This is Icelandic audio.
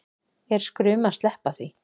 Er skrum að sleppa því